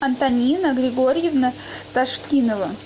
антонина григорьевна ташкинова